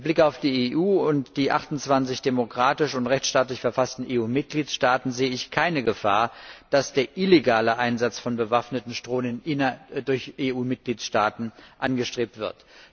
Mit Blick auf die EU und die 28 demokratisch und rechtsstaatlich verfassten EU Mitgliedstaaten sehe ich keine Gefahr, dass der illegale Einsatz von bewaffneten Drohnen durch EU Mitgliedstaaten angestrebt wird.